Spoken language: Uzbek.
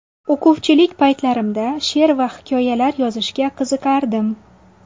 O‘quvchilik paytlarimda she’r va hikoyalar yozishga qiziqardim.